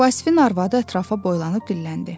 Vasifin arvadı ətrafa boylanıb dilləndi.